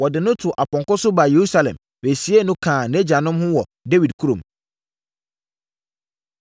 Wɔde no too ɔpɔnkɔ so baa Yerusalem bɛsiee no kaa nʼagyanom ho wɔ Dawid kurom.